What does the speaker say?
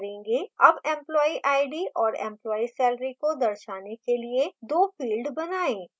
अब employee id और employee salary को दर्शाने के लिए दो field बनाएँ